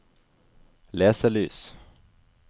leselys